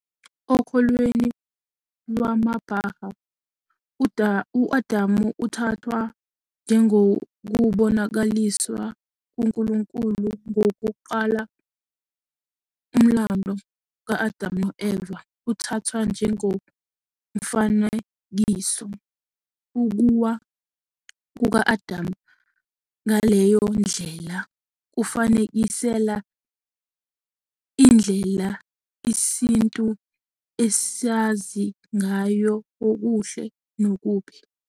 Okholweni lwamaBaháʼí, u-Adam uthathwa njengokuBonakaliswa kukaNkulunkulu kokuqala. Umlando ka-Adam no-Eva uthathwa njengomfanekiso. Ukuwa kuka-Adamu ngaleyo ndlela kufanekisela indlela isintu esazi ngayo okuhle nokubi.